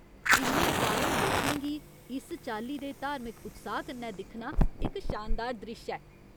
इन्ने सारे लोकें गी इस चाल्ली दे धार्मिक उत्साह् कन्नै दिक्खना इक शानदार द्रिश्श ऐ।